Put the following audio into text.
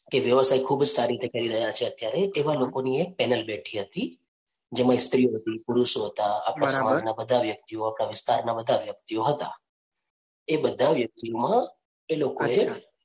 એ વ્યવસાય ખૂબ જ સારી રીતે કરી રહ્યા છે અત્યારે એવા લોકો ની એક panel બેઠી હતી જેમાં સ્ત્રીઓ હતી, પુરુષો હતા, બધા વ્યક્તિઓ હતા, આપણાં વિસ્તારના બધા વ્યક્તિઓ હતા, એ બધા વ્યકિતમાં એ લોકો એ